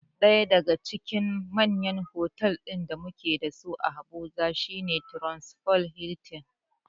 Ɗaya daga cikin manyan fotal ɗin da mu ke da su a Abuja shi ne Transcorp Hiltin.